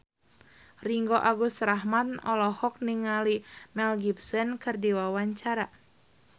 Ringgo Agus Rahman olohok ningali Mel Gibson keur diwawancara